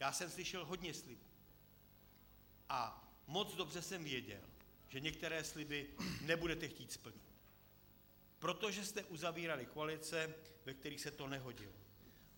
Já jsem slyšel hodně slibů a moc dobře jsem věděl, že některé sliby nebudete chtít splnit, protože jste uzavírali koalice, ve kterých se to nehodilo.